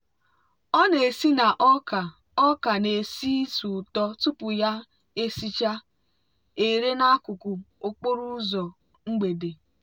ọ na-esi na ọka ọka na-esi ísì ụtọ tupu ya esichaa ere n'akụkụ okporo ụzọ mgbede.